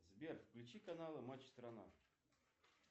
сбер включи каналы матч страна